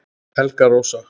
Helga Rósa